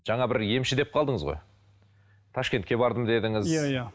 жаңа бір емші деп қалдыңыз ғой ташкентке бардым дедіңіз иә иә